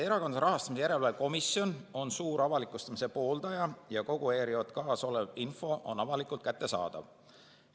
Erakondade Rahastamise Järelevalve Komisjon on suur avalikustamise pooldaja ja kogu ERJK‑s olev info on avalikult kättesaadav.